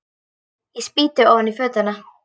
Ég spýti ofan í fötuna.